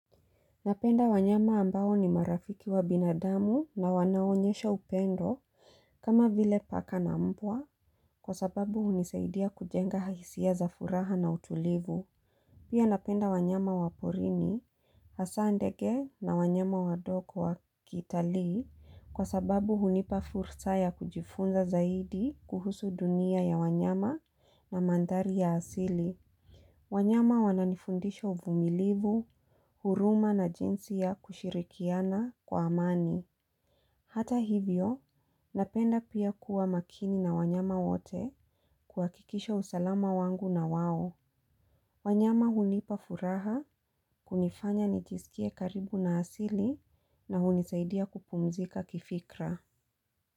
Napenda wanyama ambao ni marafiki wa binadamu na wanaonyesha upendo kama vile paka na mbwa kwa sababu hunisaidia kujenga haisiya za furaha na utulivu. Pia napenda wanyama wa porini, hasa ndege na wanyama wadogo wa kitalii kwa sababu hunipa fursa ya kujifunza zaidi kuhusu dunia ya wanyama na mandhari ya asili. Wanyama wananifundisha uvumilivu, huruma na jinsi ya kushirikiana kwa amani. Hata hivyo, napenda pia kuwa makini na wanyama wote kuhakikisha usalama wangu na wao. Wanyama hunipa furaha, kunifanya nijisikie karibu na asili na hunisaidia kupumzika kifikra.